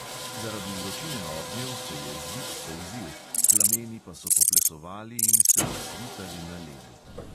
Zaradi vročine ognjev se je zid solzil, plameni pa so poplesovali in se odsvitali na ledu.